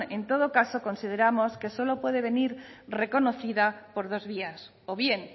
en todo caso consideramos que solo puede venir reconocida por dos vías o bien